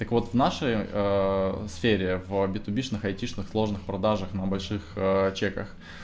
так вот в нашей сфере в битубишных айтишных сложных продажах на больших чеках